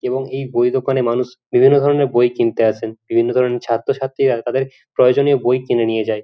এবং এই বই দোকানে মানুষ বিভিন্ন ধরণের বই কিনতে আসেন বিভিন্ন ধরণের ছাত্র ছাত্রীরা তাদের প্রয়োজনীয় বই কিনে নিয়ে যায়।